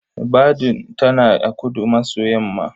Badun tana a kudu-maso-yamma.